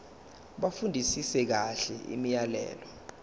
bafundisise kahle imiyalelo